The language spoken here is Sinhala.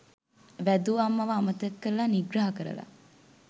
වැදූ අම්මව අමතක කරල නිග්‍රහ කරල